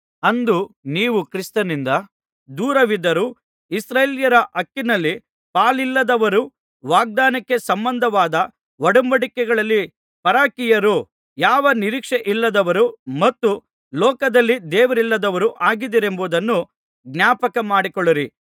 ಅಂದು ನೀವು ಕ್ರಿಸ್ತನಿಂದ ದೂರವಿದವರೂ ಇಸ್ರಾಯೇಲ್ಯರ ಹಕ್ಕಿನಲ್ಲಿ ಪಾಲಿಲ್ಲದವರೂ ವಾಗ್ದಾನಕ್ಕೆ ಸಂಬಂಧವಾದ ಒಡಂಬಡಿಕೆಗಳಲ್ಲಿ ಪರಕೀಯರೂ ಯಾವ ನಿರೀಕ್ಷೆಯಿಲ್ಲದವರೂ ಮತ್ತು ಲೋಕದಲ್ಲಿ ದೇವರಿಲ್ಲದವರೂ ಆಗಿದ್ದಿರೆಂಬುದನ್ನು ಜ್ಞಾಪಕಮಾಡಿಕೊಳ್ಳಿರಿ